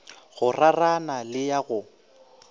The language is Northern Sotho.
go rarana le ya go